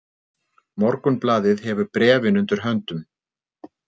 Morgunblaðið hefur bréfin undir höndum